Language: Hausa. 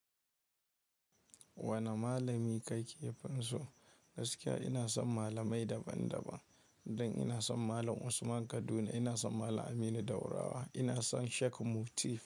Wane malami kake fin so? Gaskiya ina son malamai daban daban don ina son Malam Usman Kaduna, ina son Malam Aminu Daurawa, ina son Sheku Muti.